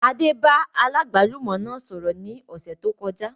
Adé bá aláàgbálùmọ́ náà sọ̀rọ̀ ní ọ̀sẹ̀ tó kọjá